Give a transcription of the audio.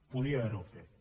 podia haver ho fet